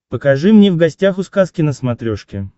покажи мне в гостях у сказки на смотрешке